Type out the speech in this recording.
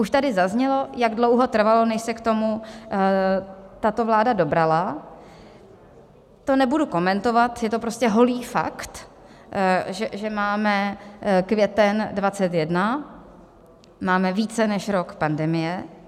Už tady zaznělo, jak dlouho trvalo, než se k tomu tato vláda dobrala, to nebudu komentovat, je to prostě holý fakt, že máme květen 2021, máme více než rok pandemie.